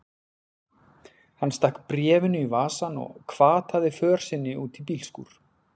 Hann stakk bréfinu í vasann og hvataði för sinni út í bílskúr.